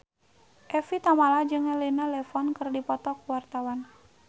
Evie Tamala jeung Elena Levon keur dipoto ku wartawan